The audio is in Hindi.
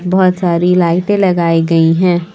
बहुत सारी लाइटे लगाई गई है।